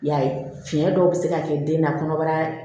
I y'a ye fiɲɛ dɔw bɛ se ka kɛ den na kɔnɔbara